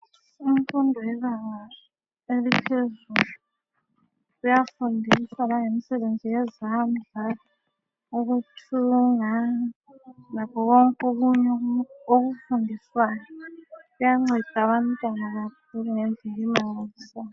Imfundo yebanga eliphezulu iyafundisa langemisebenzi yezandla ukuthunga lakho konke okunye okufundiswayo kuyanceda abantwana kakhulu ngendlela emangalisayo.